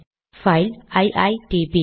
file ITP